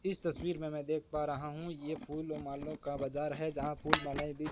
इस तस्वीर मे मैं देख पा रहा हूं ये फूल और मालों का बाजार है जहां फूल मालाएं भी--